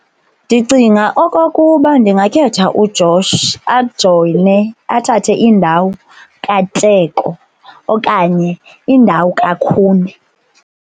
Ndicinga okokuba ndingakhetha uJosh ajoyine athathe indawo kaTeko okanye indawo kaKhune.